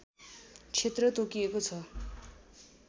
क्षेत्र तोकिएको छ